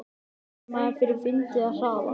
Finnur maður fyrir vindi eða hraða?